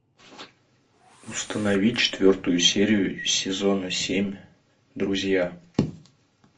установи четвертую серию сезона семь друзья